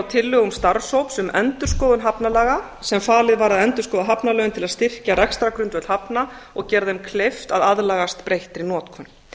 tillögum starfshóps um endurskoðun hafnalaga sem falið var að endurskoða hafnalögin til að styrkja rekstrargrundvöll hafna og gera þeim kleift að aðlagast breyttri notkun